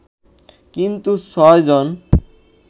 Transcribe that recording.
কিন্তু ৬ জুন